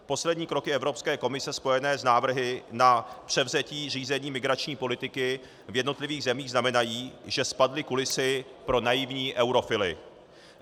Poslední kroky Evropské komise spojené s návrhy na převzetí řízení migrační politiky v jednotlivých zemích znamenají, že spadly kulisy pro naivní eurofily.